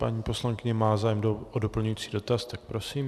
Paní poslankyně má zájem o doplňující dotaz, tak prosím.